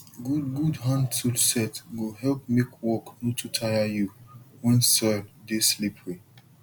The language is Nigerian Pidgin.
good good handtool set go help make work no too tire you when soil dey slippery